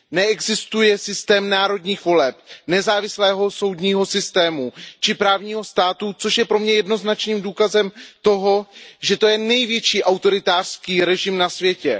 Neexistuje systém národních voleb, nezávislého soudního systému či právního státu, což je pro mě jednoznačným důkazem toho, že to je největší autoritářský režim na světě.